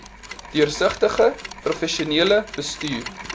deursigtige professionele bestuur